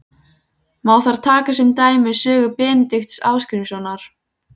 Má þar taka sem dæmi sögur Benedikts Ásgrímssonar